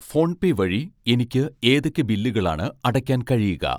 PhonePe വഴി എനിക്ക് ഏതൊക്കെ ബില്ലുകളാണ് അടയ്ക്കാൻ കഴിയുക?